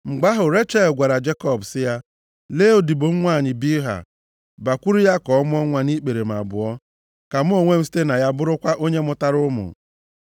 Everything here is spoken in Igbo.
+ 30:3 Anyị hụrụ na omenaala a bụ nke sitere nʼala ndị si nʼakụkụ ọwụwa anyanwụ, nʼụlọ Ebraham. \+xt Jen 16:2\+xt* Ugbu a, Jekọb na-eme otu ihe ahụ. Mgbe ahụ Rechel gwara Jekọb sị ya, “Lee odibo m nwanyị Bilha, bakwuru ya ka ọ mụọ nwa nʼikpere m abụọ, ka mụ onwe m site na ya bụrụkwa onye mụtara ụmụ.”